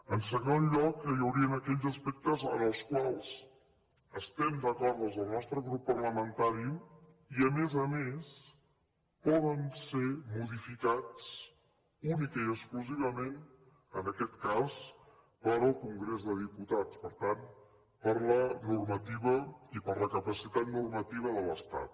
en segon lloc hi haurien aquells aspectes en els quals estem d’acord des del nostre grup parlamentari i a més a més poden ser modificats únicament i exclusivament en aquest cas pel congrés de diputats per tant per la normativa i per la capacitat normativa de l’estat